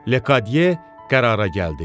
Lekadye qərara gəldi.